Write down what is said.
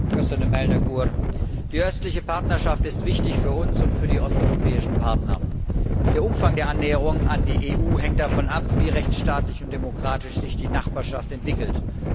Herr Präsident! Die Östliche Partnerschaft ist wichtig für uns und für die osteuropäischen Partner. Der Umfang der Annäherung an die EU hängt davon ab, wie rechtsstaatlich und demokratisch sich die Nachbarschaft entwickelt.